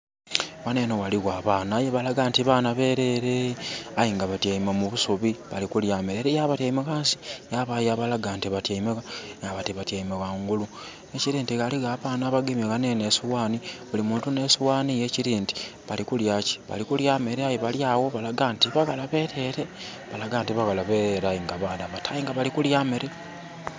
Wano eno waliwo abaana aye balaga nti baana bereere. Aye nga batyaime mu busubi bali kulya mere, eriyo abatyaime wansi, yabayo abalaga nti batyaime wa? Nga bati batyaime wangulu. Ekiri nti waliwo abaana abagemye wano eno esowaani, buli muntu n'esowaani ye, ekiri nti, balikulya ki? Balikulya mere. Aye bali awo balaga nti baghala bereere. Balaga nti baghala bereere aye nga baana bato, aye nga bali kulya mmere